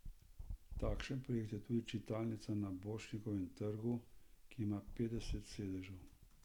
Takšen projekt je tudi čitalnica na Borštnikovem trgu, ki ima petdeset sedežev.